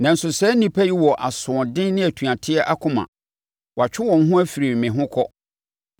Nanso, saa nnipa yi wɔ asoɔden ne atuateɛ akoma; wɔatwe wɔn ho afiri me ho kɔ.